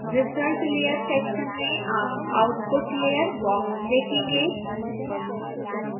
result layer section में आप output layer box देखेंगे